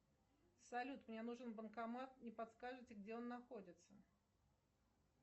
салют мне нужен банкомат не подскажете где он находится